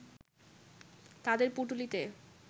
তাদের পুঁটুলিটি